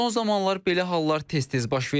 Son zamanlar belə hallar tez-tez baş verir.